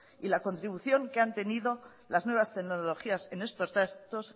y la contribución que ha tenido las nuevas tecnologías en estos actos